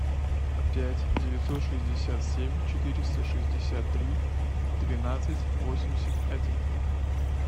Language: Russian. пять девятьсот шестьдесят семь четыреста шестьдесят три двенадцать восемьдесят один